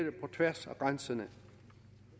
på tværs af grænserne